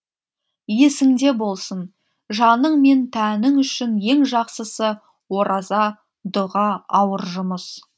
есіңде болсын жаның мен тәнің үшін ең жақсысы ораза дұға ауыр жұмыс